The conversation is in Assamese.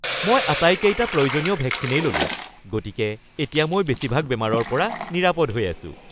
মই আটাইকেইটা প্ৰয়োজনীয় ভেকচিনেই ল'লো। গতিকে এতিয়া মই বেছিভাগ বেমাৰৰ পৰা নিৰাপদ হৈ আছোঁ।